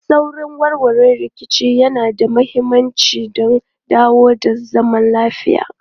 Saurin warware rikici yana da mahimmanci don dawo da zaman lafiya.